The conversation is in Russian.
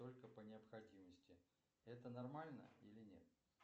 только по необходимости это нормально или нет